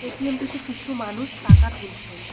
এটিএমটিতে কিছু মানুষ টাকা তুলছেন।